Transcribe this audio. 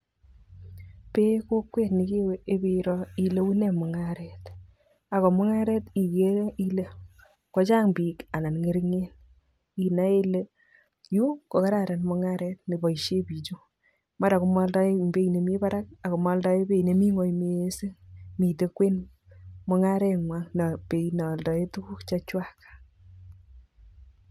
Peen kokwet nekiwe iperoo ile unee mung'aret, ako mung'aret ikere ile kochang' biik anan ng'ering'en inae ile yu kokararan mung'aret neboisien bichu mara komaaldoen beit nemi parak ako maaldoen beit nemi ngweny mising miten kwen mung'arengwan beit neoldoen tukuk chechwak.